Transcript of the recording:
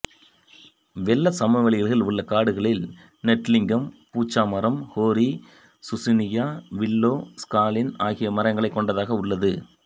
வெள்ளச் சமவெளிகளில் உள்ள காடுகளில் நெட்டிலிங்கம் பூச்ச மரம் ஹேரி சூசினியா வில்லோ ஸ்காலின் ஆகிய மரங்களைக் கொண்டதாக உள்ளது